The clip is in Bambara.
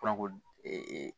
Fɔn ko ee